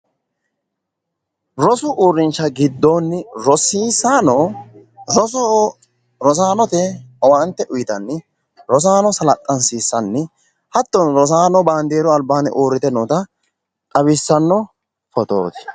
Rosu uurrinsha giddoonni rosiisaano roso rosaanote owaante uyitanni rosaano salaxxansiissanni hattono rosaano baandeeru albaanni uurrite noota xawissanno odooti.